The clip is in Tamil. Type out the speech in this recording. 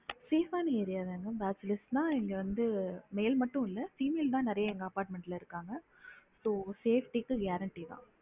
Safe ஆன area தான் bachelor தான் இங்க இருக்காங்க male மட்டும் இல்ல female தான் நெறையா எங்க apartment ல இருக்காங்க so safety க்கு guarentee தான்